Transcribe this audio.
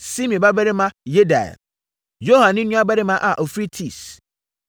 Simri babarima Yediael; Yoha ne nuabarima a ɔfiri Tis;